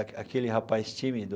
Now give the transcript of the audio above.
Aque aquele rapaz tímido,